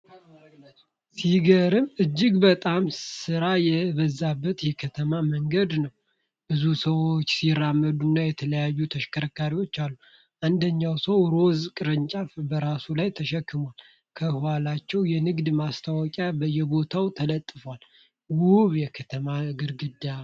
ሲገርም! እጅግ በጣም ሥራ የበዛበት የከተማ መንገድ ነው። ብዙ ሰዎች ሲራመዱና የተለያዩ ተሽከርካሪዎች አሉ። አንደኛው ሰው ሮዝ ቅርጫት በራሱ ላይ ተሸክሟል። ከኋላቸው የንግድ ማስታወቂያዎች በየቦታው ተንጠልጥለዋል። ውብ የከተማ ግርግር!